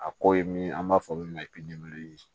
A ko ye min an b'a fɔ min ma ko